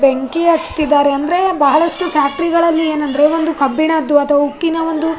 ಬೆಂಕಿ ಹಚ್ತಿದಾರೆ ಅಂದ್ರೆ ಬಹಳಷ್ಟು ಫ್ಯಾಕ್ಟರಿಗಳಲ್ಲಿ ಎನಂದ್ರೆ ಒಂದು ಕಬ್ಬಿಣದ್ದು ಅಥವ ಉಕ್ಕಿನ ಒಂದು.